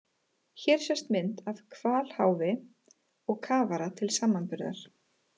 Hér sést mynd af hvalháfi og kafara til samanburðar.